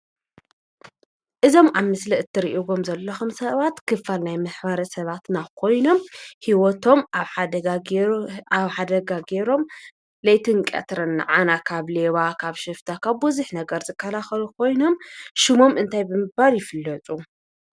እዞም አብ ምስሊ እትሪኢዎም ዘለኩም ሰባት ክፋል ናይ ማሕበረሰባትና ኮይኖም ሂወቶም አብ ሓደጋ ገይሮም ለይትን ቀትርን ናዓና ካብ ሌባ፣ ካብ ሽፍታ፣ ካብ ብዙሓት ነገር ዝከላከሉ ኮይኖም ሹሞም እንታይ ብምባል ይፍለጡ?